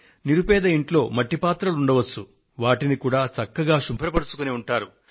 నిరుపేద ఇంట్లో మట్టి పాత్రలు ఉండవచ్చు వాటిని కూడా చక్కగా శుభ్రపరచుకుని ఉంటారు